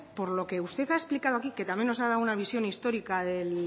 por lo que usted ha explicado usted aquí que también nos ha dado una visión histórica